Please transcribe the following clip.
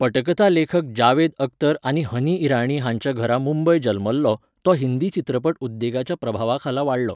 पटकथा लेखक जावेद अख्तर आनी हनी इराणी हांच्या घरा मुंबय जल्मल्लो, तो हिंदी चित्रपट उद्देगाच्या प्रभावाखाला वाडलो.